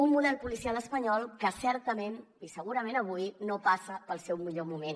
un model policial espanyol que certament i segurament avui no passa pel seu millor moment